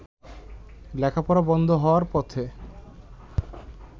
লেখাপড়া বন্ধ হওয়ার পথে।